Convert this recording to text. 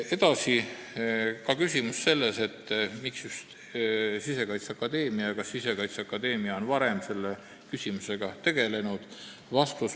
Edasi, küsimus oli ka selles, miks just Sisekaitseakadeemia – kas Sisekaitseakadeemia on selle küsimusega varem tegelenud?